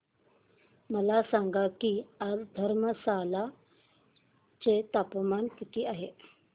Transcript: मला सांगा की आज धर्मशाला चे तापमान किती आहे